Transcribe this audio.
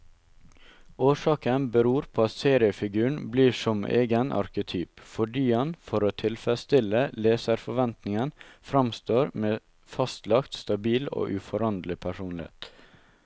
Årsaken beror på at seriefiguren blir som egen arketyp, fordi han for å tilfredstille leserforventningen framstår med fastlagt, stabil og uforanderlig personlighet.